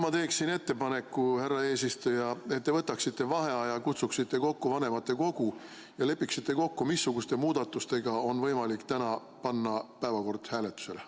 Ma teen ettepaneku, härra eesistuja, et te võtaksite vaheaja, kutsuksite kokku vanematekogu ja lepiksite kokku, missuguste muudatustega on võimalik täna panna päevakord hääletusele.